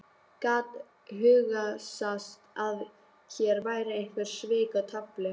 Gat hugsast að hér væru einhver svik í tafli?